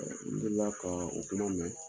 N delila ka o kuma mɛn